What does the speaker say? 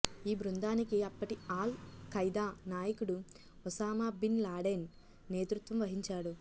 ఈ బృందానికి అప్పటి ఆల్ ఖైదా నాయకుడు ఒసామా బిన్ లాడెన్ నేతృత్వం వహించాడు